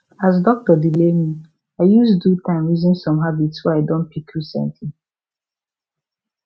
as doctor delay me i use do time reason some habits wey i don pick recently